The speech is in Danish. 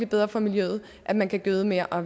bedre for miljøet at man kan gøde mere og